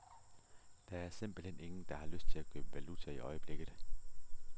Der er simpelthen ingen, der har lyst til at købe valuta i øjeblikket.